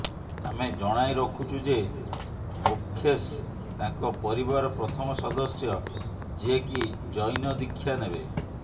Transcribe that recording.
ଆମେ ଜଣାଇରଖୁଛୁ ଯେ ମୋକ୍ଷେଷ ତାଙ୍କ ପରିବାର ପ୍ରଥମ ସଦସ୍ୟ ଯିଏକି ଜୈନ ଦୀକ୍ଷା ନେବେ